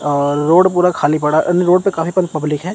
अ road पूरा खाली पड़ा रोड पर काफी प पब्लिक है।